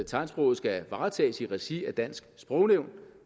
tegnsprog skal varetages i regi af dansk sprognævn